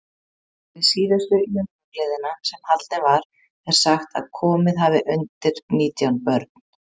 Við síðustu Jörfagleðina, sem haldin var, er sagt, að komið hafi undir nítján börn.